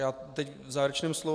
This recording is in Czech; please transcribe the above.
Já teď v závěrečném slovu...